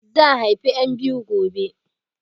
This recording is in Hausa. Zan haifi 'yan biyu gobe